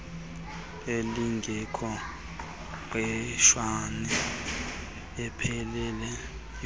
elingekho ngqeshweni ipheleleyo